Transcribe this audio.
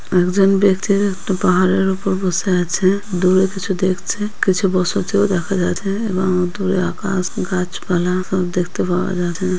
একজন ব্যক্তি একটা পাহাড়ের উপর বসে আছে। দূরে কিছু দেখছে কিছু বসতী ও দেখা যাচ্ছে এবং দূরে আকাশ গাছপালা সব দেখতে পাওয়া যাছে।